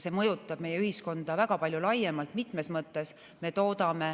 See mõjutab meie ühiskonda väga palju laiemalt mitmes mõttes.